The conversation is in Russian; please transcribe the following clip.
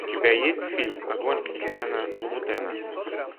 у тебя есть фильм огонь кристиана лубутена